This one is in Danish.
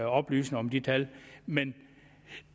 oplysninger om de tal men